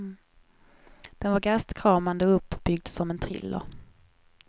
Den var gastkramande, uppbyggd som en thriller.